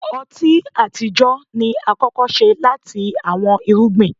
ọti atijọ ni akọkọ ṣe lati awọn irugbin.